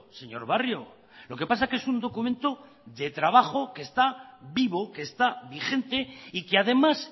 señor barrio lo que pasa es que es un documento de trabajo que está vivo que está vigente y que además